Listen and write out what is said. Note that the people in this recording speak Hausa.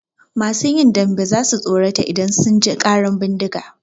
Masu yin dambe za su tsorata idan sun ji ƙaran bindiga.